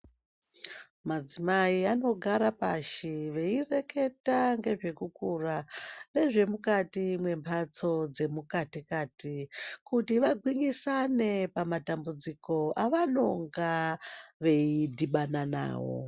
Madzimai vanogara pashi veireketa ngezvekukura nezvemukati memhatso dzemukati-kati. Kuti vagwinyisane pamatambudziko avanonga veidhibana navo.